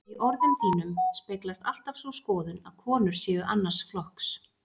Í orðum þínum speglast alltaf sú skoðun, að konur séu annars flokks.